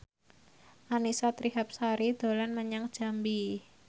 Annisa Trihapsari dolan menyang Jambi